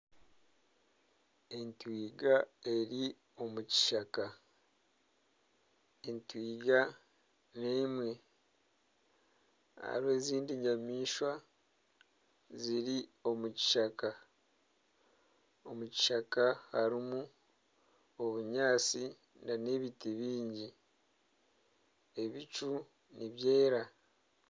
Entwiga eri omukishaka. Entwiga n'emwe. Hariho ezindi nyamaishwa ziri omu kishaka. Omu kishaka harimu obunyaatsi hamwe n'ebiti bingi ebicu nibyera.